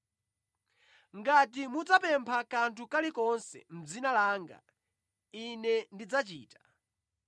Ngati mudzapempha kanthu kalikonse mʼdzina langa, Ine ndidzachita.